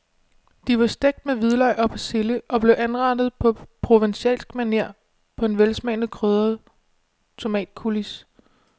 De var stegt med hvidløg og persille og blev anrettet på provencalsk maner på en velsmagende krydret tomatcoulis.